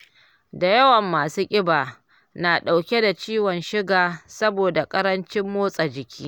Da yawan masu ƙiba na dauke da ciwon suga saboda ƙarancin motsa jiki